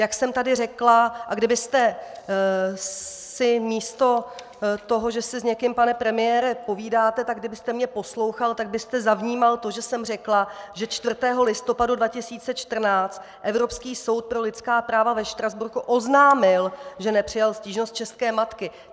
Jak jsem tady řekla - a kdybyste si místo toho, že si s někým, pane premiére, povídáte, tak kdybyste mě poslouchal, tak byste zavnímal to, že jsem řekla, že 4. listopadu 2014 Evropský soud pro lidská práva ve Štrasburku oznámil, že nepřijal stížnost české matky.